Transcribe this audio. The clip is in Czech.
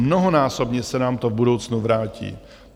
Mnohonásobně se nám to v budoucnu vrátí.